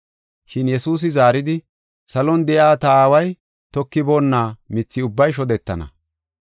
Shin Yesuusi zaaridi, “Salon de7iya ta aaway tokiboonna mithi ubbay shodetana.